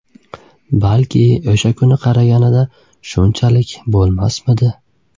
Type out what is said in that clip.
Balki o‘sha kuni qaraganida shunchalik bo‘lmasmidi?